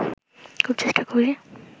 খুব চেষ্টা করি